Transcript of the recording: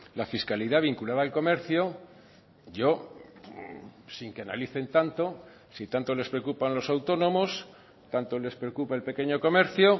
la fiscalidad vinculada al comercio yo sin que analicen tanto si tanto les preocupan los autónomos tanto les preocupa el pequeño comercio